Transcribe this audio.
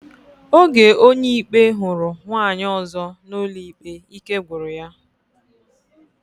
Oge Onyeikpe huru nwaanyi ozo na ụlọikpe, ike gwuru ya.